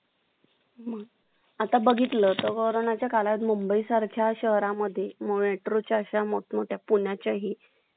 thank you